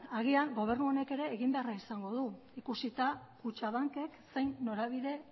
agian gobernu honek ere eginbeharra izango du ikusita kutxabankek zein norabide